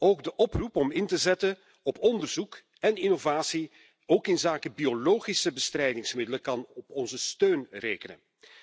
Ook de oproep om in te zetten op onderzoek en innovatie, ook inzake biologische bestrijdingsmiddelen, kan op onze steun rekenen.